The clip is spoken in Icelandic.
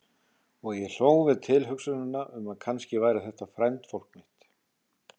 Og ég hló við tilhugsunina um að kannski væri þetta frændfólk mitt.